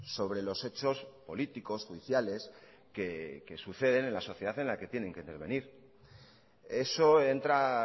sobre los hechos políticos judiciales que suceden en la sociedad en la que tienen que intervenir eso entra